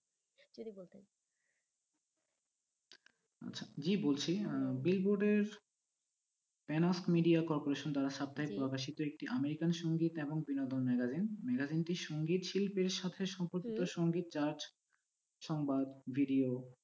জি বলছি আহ billboard এর NF media cooperation দ্বারা সাপ্তাহিক প্রকাশিত একটি american সংগীত এবং বিনোদন magazine magazine টি সংগীতশিল্পের সাথে সপত্ত সংগীত judge সংবাদ video